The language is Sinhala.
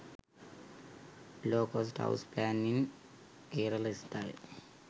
low cost house plan in kerala style